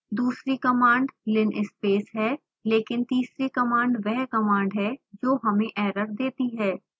दूसरी command linspace है लेकिन तीसरी कमांड वह कमांड है जो हमें एरर देती है